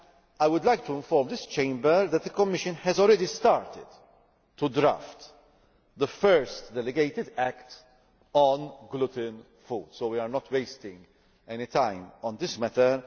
I would like to inform this Chamber that the Commission has already started to draft the first delegated act on gluten free foods, so we are not wasting any time on this matter.